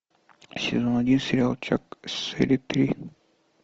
сезон один сериал чак серия три